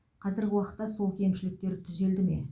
қазіргі уақытта сол кемшіліктер түзелді ме